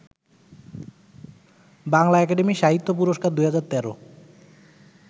Bangla Academy সাহিত্য পুরস্কার ২০১৩